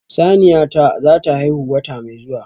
Saniya ta zata haihu wata mai zuwa